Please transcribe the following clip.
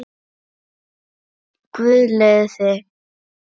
Guð leiði þig.